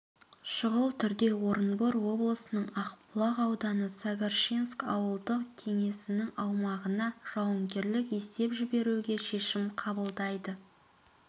шұғыл түрде орынбор облысының ақбұлақ ауданы сагарчинск ауылдық кеңесінің аумағына жауынгерлік есеп жіберуге шешім қабылдайды